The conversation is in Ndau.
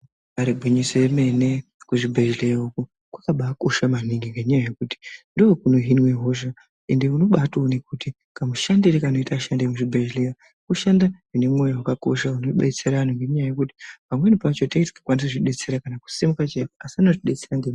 Ibari gwinyiso remene kuzvibhedhlera uko kwakabakosha maningi ngendaa yekuti ndokunohinwa hosha unotoona kuti kamushandiro kanoita vashandi vemuzvibhedhlera kushanda zvine mwoyo unodetsera antu ngenyaya yekuti pamweni pacho tenge tisingakwanisi kuzvidetsera kana kusimuka chaiko.